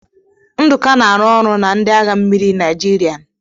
Nduka na-arụ ọrụ na ndị agha mmiri nigerian